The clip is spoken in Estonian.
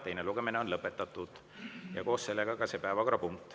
Teine lugemine on lõpetatud ja koos sellega ka see päevakorrapunkt.